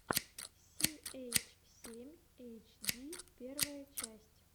си эйч семь эйч ди первая часть